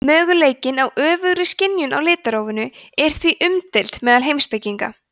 möguleikinn á öfugri skynjun á litrófinu er því umdeildur meðal heimspekinga